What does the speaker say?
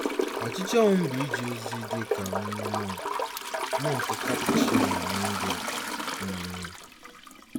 Ọchịchọ m bụ ije ozi dị ka onye mọnk mọnk Kapuchin n’India. um